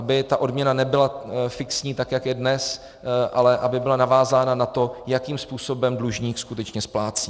Aby ta odměna nebyla fixní, tak jak je dnes, ale aby byla navázána na to, jakým způsobem dlužník skutečně splácí.